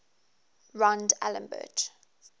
rond alembert